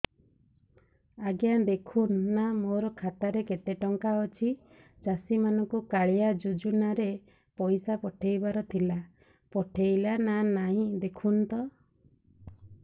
ଆଜ୍ଞା ଦେଖୁନ ନା ମୋର ଖାତାରେ କେତେ ଟଙ୍କା ଅଛି ଚାଷୀ ମାନଙ୍କୁ କାଳିଆ ଯୁଜୁନା ରେ ପଇସା ପଠେଇବାର ଥିଲା ପଠେଇଲା ନା ନାଇଁ ଦେଖୁନ ତ